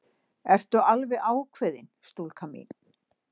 Ertu alveg ákveðin, stúlka mín?